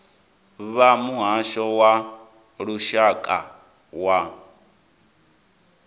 vha muhasho wa lushaka wa